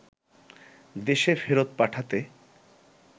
দেশে ফেরত পাঠাতে